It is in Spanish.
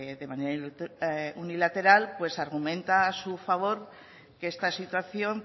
de manera unilateral argumenta a su favor que esta situación